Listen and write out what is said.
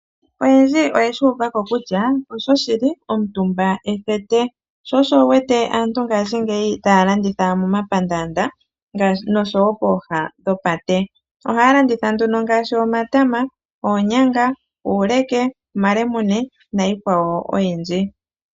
Oyendji oye shi uva ko kutya osho shili, omutumba ethete, sho osho wu wete aantu ngashingeyi taya landitha momapandaanda noshowo pooha dhopate. Ohaya landitha nduno ngaashi omatama, oonyanga, uuleke, omalemune niikwawo oyindji.